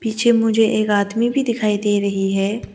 पीछे मुझे एक आदमी भी दिखाई दे रही है।